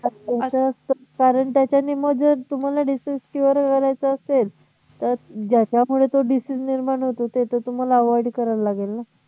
आता कारण त्याच्या नि मग जर तुम्हाला disease cure करायचं असेल तर ज्याच्यामुळे तो disease निर्माण होतो ते तर तुम्हाला avoid करावं लागेल ना